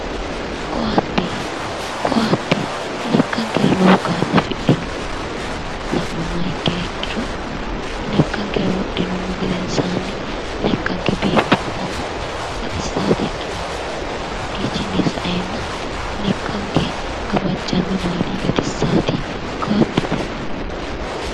koatte koatte lekkankera lowo kaa'lo afidhino la'nummoha ikkiha ikkiro lekkankera wodhinummo gedensaanni lekkanke biiffannotanna baxissannota ikkitanno hakkiino sae lekkanke gawajjannorinni baalinni gatisaate koatte.